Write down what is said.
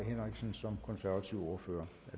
venstre